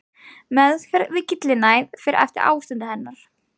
Meðferð við gyllinæð fer eftir ástandi hennar.